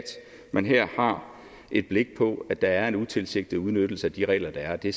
man her har et blik på at der er en utilsigtet udnyttelse af de regler der er og det